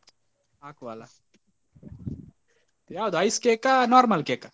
ಹಾಕುವಲ್ಲ ಯಾವುದು ice cake ಆ normal cake ಆ?